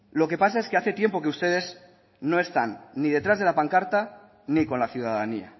lo que pasa es que hace tiempo que ustedes no están ni detrás de la pancarta ni con la ciudadanía